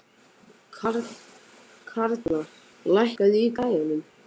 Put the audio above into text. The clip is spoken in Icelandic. Karla, lækkaðu í græjunum.